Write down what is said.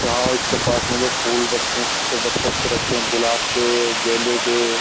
यहाँ इसके पास में जो फूल रखे हैं कितने अच्छे-अच्छे लगते हैं गुलाब के गेंदे के।